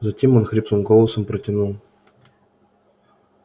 затем он хриплым голосом протянул